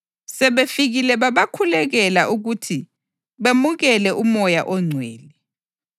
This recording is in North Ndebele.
Sebefikile babakhulekela ukuthi bemukele uMoya oNgcwele,